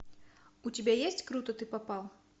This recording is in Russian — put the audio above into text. у тебя есть круто ты попал